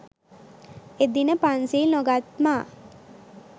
එදින පන්සිල් නොගත් මා